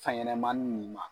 Fɛn ɲɛnama nin ma